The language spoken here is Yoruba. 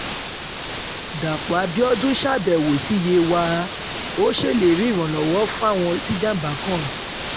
dápò abiodun ṣàbẹ̀wò sí yewa ò ṣèlérí ìrànwọ́ fáwọn tijàm̀bá kan